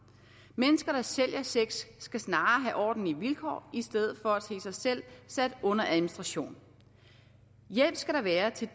mennesker der sælger sex skal snarere have ordentlige vilkår i stedet for at se sig selv sat under administration hjælp skal der være til